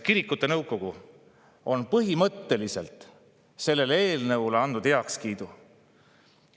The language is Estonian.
Kirikute nõukogu on põhimõtteliselt andnud sellele eelnõule heakskiidu.